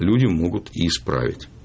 люди могут и исправить